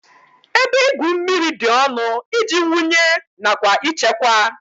Ebe igwu mmiri dị ọnụ iji wụnye nakwa ichekwa